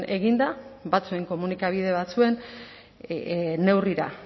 eginda batzuen komunikabide batzuen neurrira